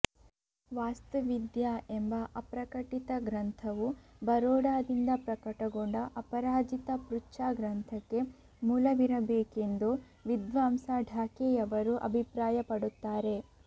ವಾಸ್ತುವಿದ್ಯಾ ಎಂಬ ಅಪ್ರಕಟಿತ ಗ್ರಂಥವು ಬರೋಡಾದಿಂದ ಪ್ರಕಟಗೊಂಡ ಅಪರಾಜಿತ ಪೃಚ್ಛಾ ಗ್ರಂಥಕ್ಕೆ ಮೂಲವಿರಬೇಕೆಂದು ವಿದ್ವಾಂಸ ಢಾಕೆಯವರು ಅಭಿಪ್ರಾಯ ಪಡುತ್ತಾರೆ